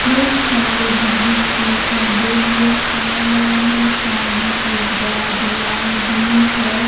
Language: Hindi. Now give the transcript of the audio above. बहुत सारे बिजली के खंभे नजर आ रहे हैं सामने एक बड़ा दीवाल भी है।